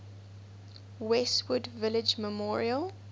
westwood village memorial